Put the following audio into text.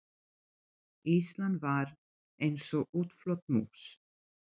Ísland var eins og útflött mús.